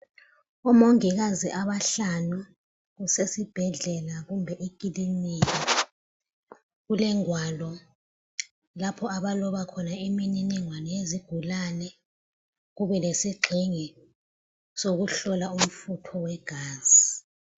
Omongikazi abahlanu besesibhedlela kumbe ekilinika. Kulegwalo lapho abaloba khona iminingwane yezigulane. Kube lesigqingi sokuhlola umfutho wegazi.